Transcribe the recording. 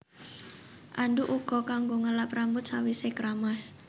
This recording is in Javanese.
Andhuk uga kanggo ngelap rambut sawisé kramas